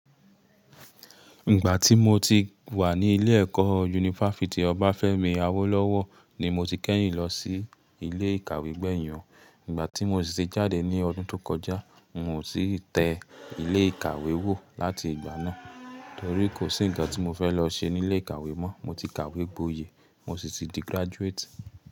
Ìgbà tí mo ti wà ní ilé ẹ̀kọ́ yunifásítì ọba Fẹ́mi Awólọ́wọ̀ ni mo ti kẹ́yìn lọ sí ilé ìkàwé gbẹ̀hìn. Ìgbà tí mo ṣì ṣe jáde ní ọdún tó kọjá, n ò sì tẹ ilé ìkàwé wò láti ìgbà náà torí kò sí ǹkan tí mo fẹ́ lọ ṣe ní ilé ìkàwé mọ́. Mo ti kàwé gboyè, mo sì ti di graduate.